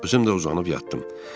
Özüm də uzanıb yatdım.